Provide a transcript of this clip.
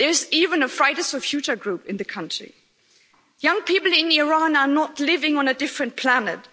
There is even a Fight for the Future' group in the country. Young people in Iran are not living on a different planet.